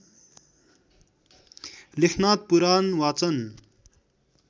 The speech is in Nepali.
लेखनाथ पुराण वाचन